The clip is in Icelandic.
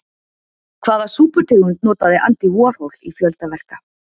Hvaða súputegund notaði Andy Warhol í fjölda verka?